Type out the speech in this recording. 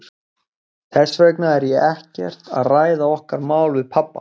Þess vegna er ég ekkert að ræða okkar mál við pabba.